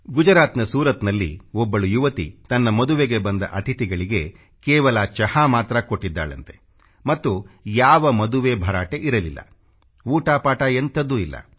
ಗುಜರಾತ್ನ ಸೂರತ್ನಲ್ಲಿ ಒಬ್ಬಳು ಯುವತಿ ತನ್ನ ಮದುವೆಗೆ ಬಂದ ಅತಿಥಿಗಳಿಗೆ ಕೇವಲ ಚಹಾ ಮಾತ್ರ ಕೊಟ್ಟಿದ್ದಾಳಂತೆ ಮತ್ತು ಮದುವೆಯಲ್ಲಿ ಯಾವ ಭರಾಟೆಯೂ ಇರಲಿಲ್ಲ ಊಟ ಪಾಟ ಎಂಥದೂ ಇಲ್ಲ